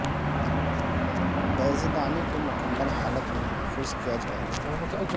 بیضے دانی کو مکمل حالت میں محفوظ کیا جائے گا